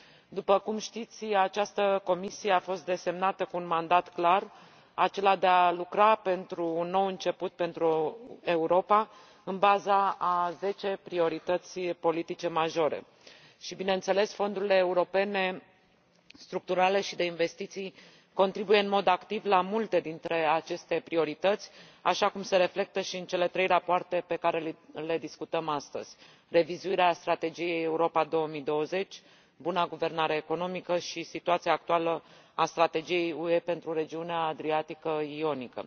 După cum știți, această Comisie a fost desemnată cu un mandat clar, acela de a lucra pentru un nou început pentru Europa, în baza a zece priorități politice majore și, bineînțeles, fondurile europene structurale și de investiții contribuie în mod activ la multe dintre aceste priorități, așa cum se reflectă și în cele trei rapoarte pe care le discutăm astăzi revizuirea strategiei Europa 2020, buna guvernanță economică și situația actuală a strategiei UE pentru regiunea Mării Adriatice și a Mării Ionice.